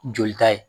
Jolita ye